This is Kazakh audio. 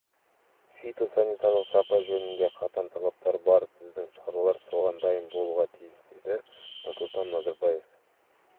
фитосанитарлық сапа жөнінде қатаң талаптары бар біздің шаруалар соған дайын болуға тиіс деді нұрсұлтан назарбаев